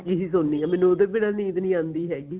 ਹੀ ਸੋਨੀ ਆ ਮੈਨੂੰ ਉਹਦੇ ਬਿੰਨਾ ਨੀਂਦ ਨਹੀਂ ਆਂਦੀ ਹੈਗੀ